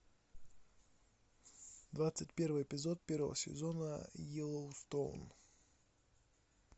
двадцать первый эпизод первого сезона йеллоустоун